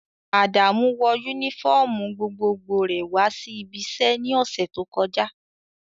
Adamu wọ unifọmú gbogbogbò rẹ wa si ibi iṣẹ ni ọsẹ to kọja.